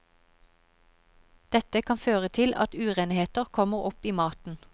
Dette kan føre til at urenheter kommer opp i maten.